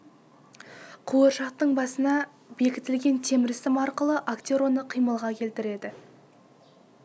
қуыршақтың басына бекітілген темір сым арқылы актер оны қимылға келтіреді